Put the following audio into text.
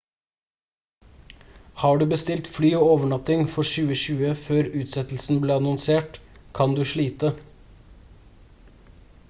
har du bestilt fly og overnatting for 2020 før utsettelsen ble annonsert kan du slite